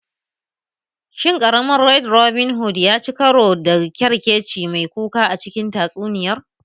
Shin ƙaramin Red Robin Hood ya ci karo da ƙyarkeci mai kuka a cikin tatsuniyar?